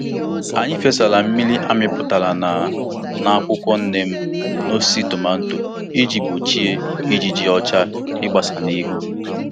Anyị fesara Mmiri amịpụtara na na akwụkwọ neem n'osisi tomato iji gbochie ijiji ọcha ịgbasa n'ihu.